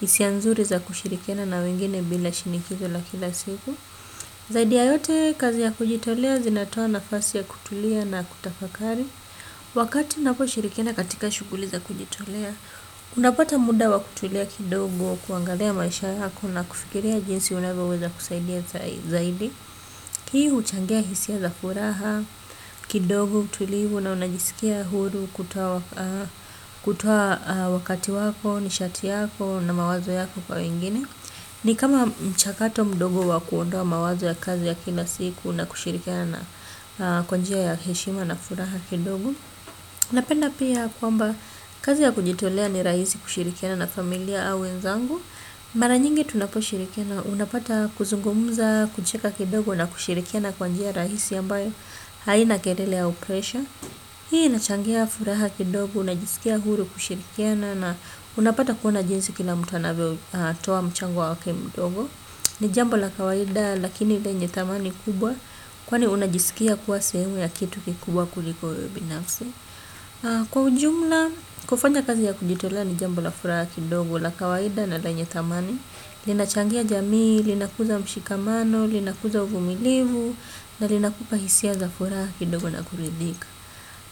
hisia nzuri za kushirikiana na wengine bila shinikizo la kila siku. Zaidi ya yote kazi ya kujitolea zinatoa nafasi ya kutulia na kutafakari. Wakati napo shirikina katika shughuli za kujitolea. Unapata muda wa kutulia kidogo kuangalia maisha yako na kufikiria jinsi unavyoweza kusaidia zaidi hii huchangia hisia za furaha, kidogo, utulivu na unajisikia huru kutoa wakati wako, nishati yako na mawazo yako kwa wengine. Ni kama mchakato mdogo wa kuondoa mawazo ya kazi ya kila siku na kushirikiana kwa njia ya heshima na furaha kidogo. Napenda pia kwamba kazi ya kujitolea ni rahisi kushirikia na familia au wenzangu. Mara nyingi tunaposhirikiana unapata kuzungumza kucheka kidogo na kushirikiana kwa njia rahisi ambayo haina kelele au presha. Hii inachangia furaha kidogo, unajisikia huru kushirikiana na unapata kuona jinsi kila mtu anavyotoa mchango wake mdogo. Ni jambo la kawaida lakini lenye thamani kubwa kwani unajisikia kuwa sehemu ya kitu kikubwa kuliko wewe binafsi. Kwa ujumla, kufanya kazi ya kujitolea ni jambo la furaha kidogo la kawaida na lenye thamani. Linachangia jamii, linakuza mshikamano, linakuza uvumilivu na linakupa hisia za furaha kidogo na kuridhika.